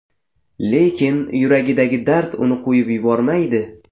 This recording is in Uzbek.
Lekin yuragidagi dard uni qo‘yib yubormaydi.